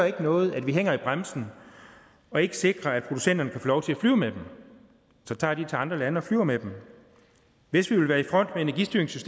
ikke noget at vi hænger i bremsen og ikke sikrer at producenterne kan få lov til at flyve med dem så tager de til andre lande og flyver med dem hvis vi vil være